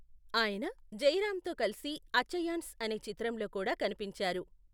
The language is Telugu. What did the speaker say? ఆయన జయరాంతో కలిసి అచ్చయాన్స్ అనే చిత్రంలో కూడా కనిపించారు.